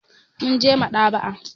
Mun je maɗ'aba'a.